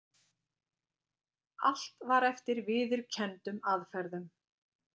Allt var eftir viðurkenndum aðferðum.